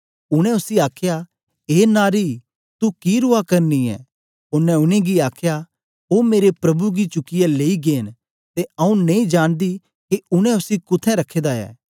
उनै उसी आखया ए नारी तू कि रुआ करनी ऐ ओनें उनेंगी आखया ओ मेरे प्रभु गी चुकियै लेई गै न ते आऊँ नेई जानदी के उनै उसी कुत्थें रखे दा ऐ